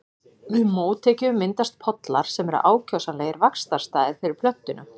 Við mótekju myndast pollar sem eru ákjósanlegir vaxtarstaðir fyrir plöntuna.